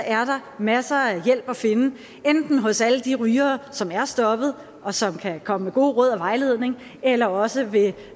er der masser af hjælp at finde enten hos alle de rygere som er stoppet og som kan komme med gode råd og vejledning eller også ved